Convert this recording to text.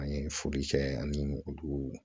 An ye foli kɛ ani